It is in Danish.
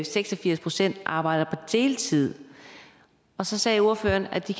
seks og firs procent arbejder på deltid så sagde ordføreren at de